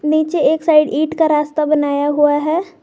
नीचे एक साइड ईंट का रास्ता बनाया हुआ है।